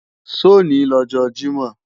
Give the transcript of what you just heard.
Sọ̀ ní lọ́jọ Jímọ̀?